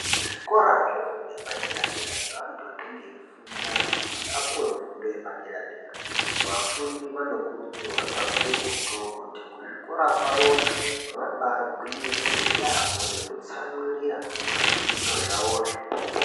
Kuzvikora zvefundo yepadera dera zveantu anenge eifunda kuti apuwe fundo yepadera dera vafundi vanokurudzirwa kakurutu kuti kuzvikora kwavoyo vabagwinyisire yambo nekutsamwirira pazvifundo zvavozvo.